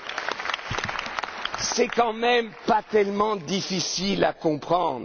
la modernité! Ce n'est tout de même pas tellement difficile